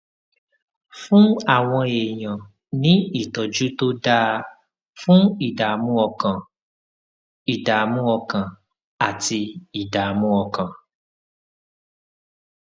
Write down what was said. fún àwọn èèyàn ní ìtójú tó dáa fún ìdààmú ọkàn ìdààmú ọkàn àti ìdààmú ọkàn